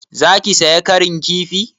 Za ki saya ƙarin kifi?